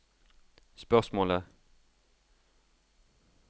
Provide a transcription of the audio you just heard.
spørsmålet